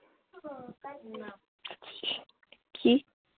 কি?